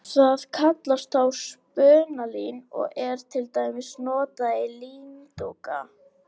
Það kallast þá spunalín og er til dæmis notað í líndúka.